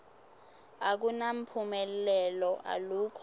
akunamphumelelo alukho